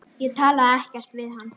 Ég talaði ekkert við hann.